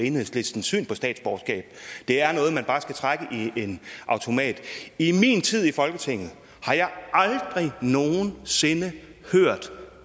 enhedslistens syn på statsborgerskab det er noget man bare skal trække i en automat i min tid i folketinget har jeg aldrig nogen sinde hørt